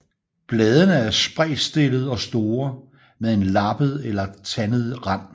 Bladene er spredtstillede og store med en lappet eller tandet rand